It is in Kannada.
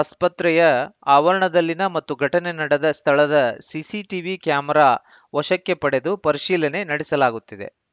ಆಸ್ಪತ್ರೆಯ ಆವರಣದಲ್ಲಿನ ಹಾಗೂ ಘಟನೆ ನಡೆದ ಸ್ಥಳದ ಸಿಸಿಟಿವಿ ಕ್ಯಾಮೆರಾ ವಶಕ್ಕೆ ಪಡೆದು ಪರಿಶೀಲನೆ ನಡೆಸಲಾಗುತ್ತಿದೆ